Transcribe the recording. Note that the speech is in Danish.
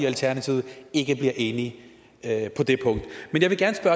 alternativet ikke bliver enige på det punkt men jeg vil gerne